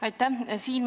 Aitäh!